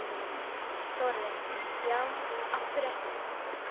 Þórarinn: Já, af hverju ekki?